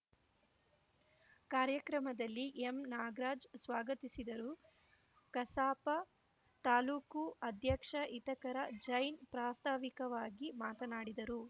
ಕಾರ್ಯಕ್ರಮದಲ್ಲಿ ಎಂನಾಗರಾಜ್‌ ಸ್ವಾಗತಿಸಿದರು ಕಸಾಪ ತಾಲೂಕು ಅಧ್ಯಕ್ಷ ಹಿತಕರ ಜೈನ್‌ ಪ್ರಾಸ್ತಾವಿಕವಾಗಿ ಮಾತನಾಡಿದರು